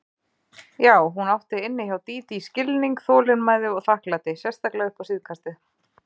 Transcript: Já, hún átti inni hjá Dídí skilning, þolinmæði og þakklæti, sérstaklega upp á síðkastið.